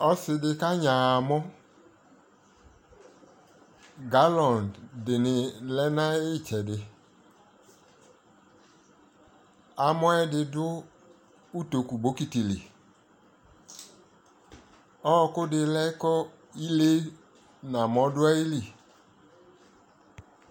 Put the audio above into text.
ɔsidi ka nyaa amɔ, galon dini lɛnʋ ayi ɛtsɛdi, amɔɛ di dʋ ʋtɔkʋ bɔkiti li, ɔkʋ di lɛ kʋ ilɛɛ nʋ amɔ dʋ ayili